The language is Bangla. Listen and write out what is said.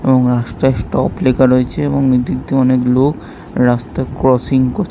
এবং লেখা রয়েছে এবং ওদিক দিয়ে অনেক লোক রাস্তা ক্রসিং করছে ।